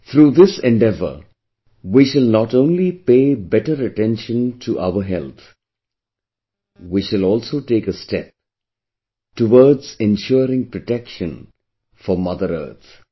Through endeavor, we shall not only pay better attention to our health; we shall also take a step towards ensuring protection for Mother Earth